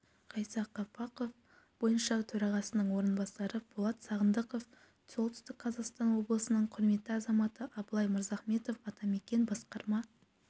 ғайса қапақов бойынша төрағасының орынбасары болат сағындықов солтүстік қазақстан облысының құрметті азаматы абылай мырзахметов атамекен басқарма